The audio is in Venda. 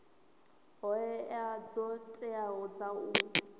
hoea dzo teaho dza u